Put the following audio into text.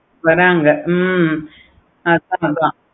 வராங்க